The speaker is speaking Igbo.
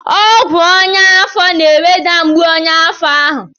Ọgwụ ọnyá afọ na-eweda mgbu ọnyá afọ ahụ.